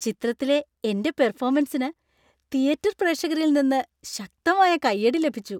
ചിത്രത്തിലെ എന്‍റെ പെർഫോമൻസിന് തിയേറ്റർ പ്രേക്ഷകരിൽ നിന്ന് ശക്തമായ കയ്യടി ലഭിച്ചു.